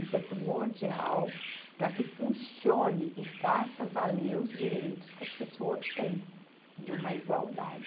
Isso é primordial para que funcione e faça valer os direitos que as pessoas têm de uma igualdade.